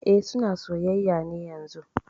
E, suna soyayya ne yanzun